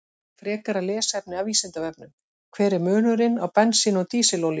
Frekara lesefni af Vísindavefnum: Hver er munurinn á bensíni og dísilolíu?